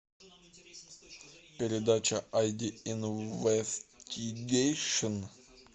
передача айди инвестигейшн